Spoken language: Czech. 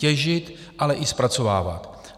Těžit, ale i zpracovávat.